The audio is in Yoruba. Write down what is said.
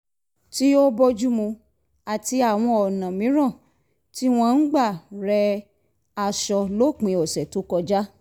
tí ó bójúmu àti àwọn ọ̀nà mìíràn tí wọ́n ń gbà re̩ aṣọ lópin ọ̀sẹ̀ tó kọjá